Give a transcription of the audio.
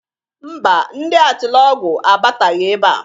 Ḿbà, ndi Atịlọgwụ abataghị ebea.